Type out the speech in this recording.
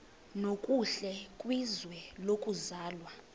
nokuhle kwizwe lokuzalwa